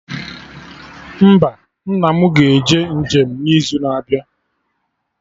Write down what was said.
Mba, nna mụ ga-eje njem n'izu na-abịa